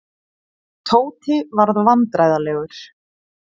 Tóti varð vandræðalegur.